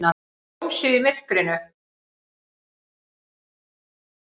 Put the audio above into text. Ljósið í myrkrinu!